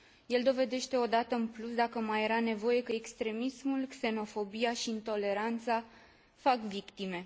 El dovedește o dată în plus, dacă mai era nevoie, că extremismul, xenofobia și intoleranța fac victime.